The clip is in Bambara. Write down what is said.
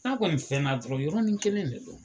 N'a kɔni fɛn n'a dɔrɔn yɔrɔnin kelen de don.